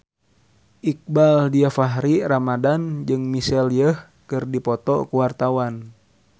Iqbaal Dhiafakhri Ramadhan jeung Michelle Yeoh keur dipoto ku wartawan